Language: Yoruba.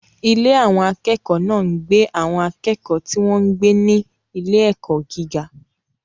Ilé àwọn akẹ́kọ̀ọ́ náà gbé àwọn akẹ́kọ̀ọ́ tí wọ́n ń gbé ní ilé-ẹ̀kọ́ gíga.